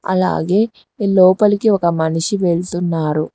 అలాగే లోపలికి ఒక మనిషి వెళ్తున్నారు.